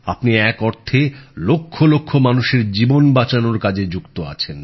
আপনি এক অর্থে লক্ষ লক্ষ মানুষের জীবন বাঁচানোর কাজে যুক্ত আছেন